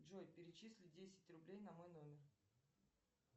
джой перечисли десять рублей на мой номер